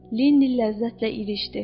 Lenni ləzzətlə irişdi.